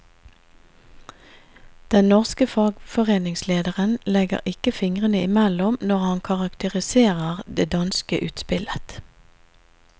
Den norske fagforeningslederen legger ikke fingrene i mellom når han karakteriserer det danske utspillet.